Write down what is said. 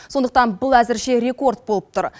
сондықтан бұл әзірше рекорд болып тұр